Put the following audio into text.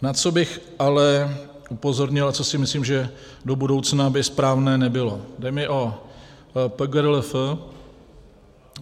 Na co bych ale upozornil a co si myslím, že do budoucna by správné nebylo - jde mi o PGRLF.